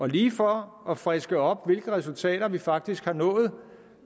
lige for at friske op hvilke resultater vi faktisk har nået